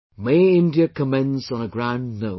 May India commence on a grand note